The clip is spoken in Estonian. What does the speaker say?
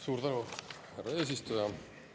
Suur tänu, härra eesistuja!